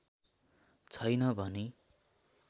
छैन भनी